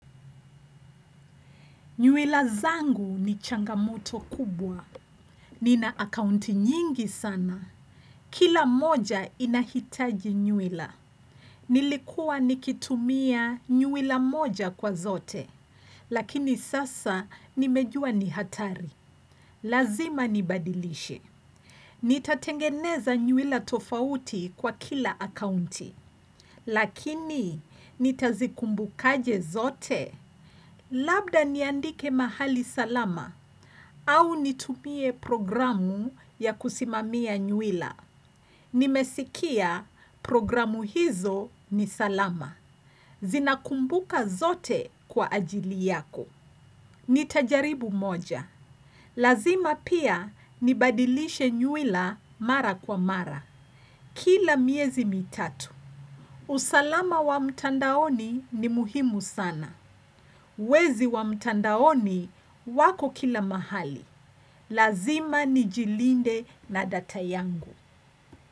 Nywila zangu ni changamoto kubwa. Nina akaunti nyingi sana. Kila moja inahitaji nyuwila. Nilikuwa nikitumia nywila moja kwa zote. Lakini sasa nimejua ni hatari. Lazima nibadilishe. Nitatengeneza nywila tofauti kwa kila akaunti. Lakini nitazikumbukaje zote? Labda niandike mahali salama. Au nitumie programu ya kusimamia nywila. Nimesikia programu hizo ni salama. Zinakumbuka zote kwa ajili yako. Nitajaribu moja. Lazima pia nibadilishe nywila mara kwa mara. Kila miezi mitatu. Usalama wa mtandaoni ni muhimu sana. Wezi wa mtandaoni wako kila mahali. Lazima nijilinde na data yangu.